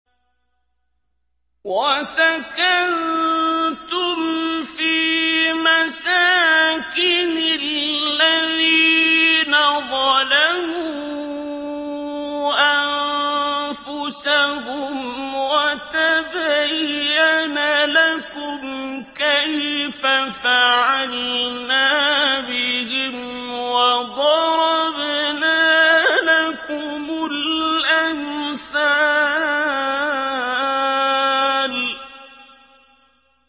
وَسَكَنتُمْ فِي مَسَاكِنِ الَّذِينَ ظَلَمُوا أَنفُسَهُمْ وَتَبَيَّنَ لَكُمْ كَيْفَ فَعَلْنَا بِهِمْ وَضَرَبْنَا لَكُمُ الْأَمْثَالَ